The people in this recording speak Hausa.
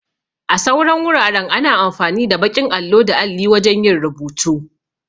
A sauran wuraren ana amfani da baƙin allo da alli wajan yin rubutu